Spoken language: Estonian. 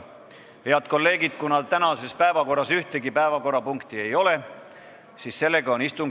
Head kolleegid, kuna tänases päevakorras ühtegi punkti ei ole, siis istung on lõppenud.